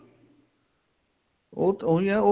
ਉਹ ਤਾਂ ਉਹੀ ਏ ਉਹ